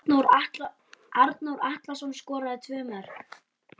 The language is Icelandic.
Arnór Atlason skoraði tvö mörk.